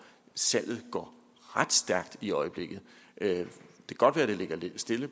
salget går ret stærkt i øjeblikket det kan godt være at det ligger lidt stille